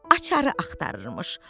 Açarı axtarırmış.